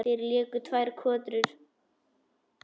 Þeir léku tvær kotrur.